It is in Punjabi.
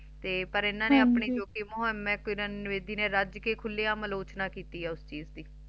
ਤੇ ਲੇਕਿਨ ਇਨ੍ਹਾਂ ਨ ਹਾਂਜੀ ਆਪਣੀ ਉਪ ਮੋਹਿਮ ਦੇ ਵਿਚ ਬੇਦੀ ਨੇ ਰਾਜ ਕ ਖੁਲੀਆਂ ਮਰੋਚਨਾ ਕਿੱਤੀ ਹੈ ਉਸ ਚੀਜ਼ ਦੀ